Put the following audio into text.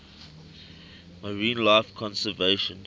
marine life conservation